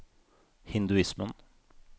hinduismen